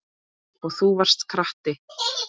Og þú varst krati.